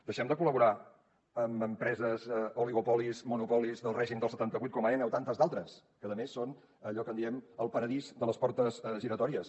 deixem de col·laborar amb empreses oligopolis monopolis del règim del setanta vuit com aena o tantes d’altres que a més són allò que en diem el paradís de les portes giratòries